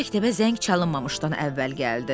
Tom məktəbə zəng çalınmamışdan əvvəl gəldi.